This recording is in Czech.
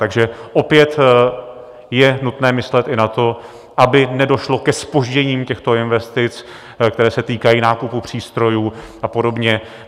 Takže opět je nutné myslet i na to, aby nedošlo ke zpoždění těchto investic, které se týkají nákupu přístrojů a podobně.